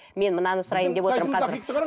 мен мынаны сұрайын деп отырмын қазір